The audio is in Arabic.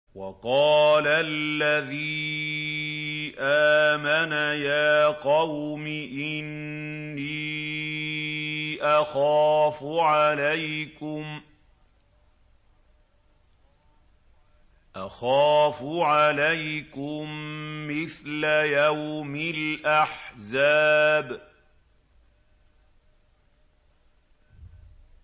وَقَالَ الَّذِي آمَنَ يَا قَوْمِ إِنِّي أَخَافُ عَلَيْكُم مِّثْلَ يَوْمِ الْأَحْزَابِ